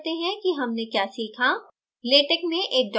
अब सारांशित करते हैं कि हमने क्या सीखा